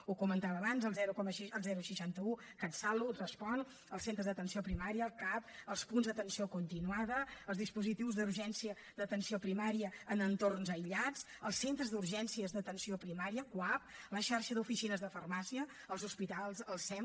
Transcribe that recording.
ho comentava abans el seixanta un catsalut respon els centres d’atenció primària el cap els punts d’atenció continuada els dispositius d’urgència d’atenció primària en entorns aïllats els centres d’urgències d’atenció primària cuap la xarxa d’oficines de farmàcia els hospitals el sem